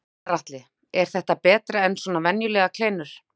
Gunnar Atli: Er þetta betra en svona venjulegar kleinur?